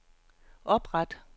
opret